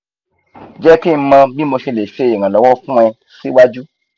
jeki mo bi mo se le se iranlowo fun e si waju